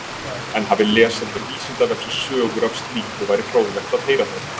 En hafi lesendur Vísindavefsins sögur af slíku væri fróðlegt að heyra þær.